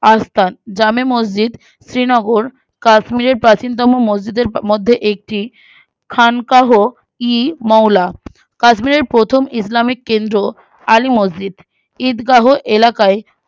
আস্ত্রায় জামে মসজিদ শ্রীনগর কাশ্মীরের প্রাণচীনতম মসজিদের মধ্যে একটি খানকাহ-ই-মৌলা কাশ্মীরের প্রথম ইসলামিক কেন্দ্র আলী মসজিদ ঈদগাহ এলাকায়